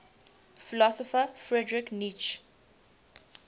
philosopher friedrich nietzsche